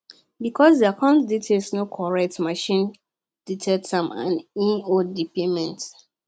because di account detail no correct machine detect am and e hold di payment